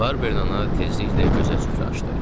Barbernana tezliklə gözə süfrə açdı.